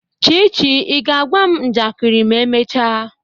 Chichi, ị ga-agwa m njakịrị ma emechaa?